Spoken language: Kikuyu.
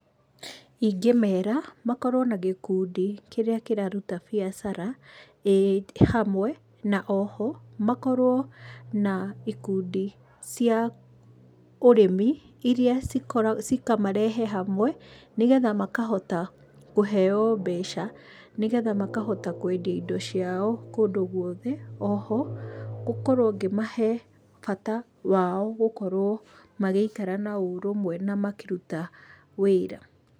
Ingĩmera makorwo na gĩkundi kĩrĩa kĩraruta biacara ĩĩ hamwe, na oho makorwo na ikundi cia ũrĩmi iria cikamarehe hamwe nĩgetha makahota kũheo mbeca, nĩgetha makahota kwendia indo ciao kũndũ gwothe. Oho gũkorwo ngĩmahe bata wao gũkorwo magĩikara na ũrũmwe na makĩruta wĩra.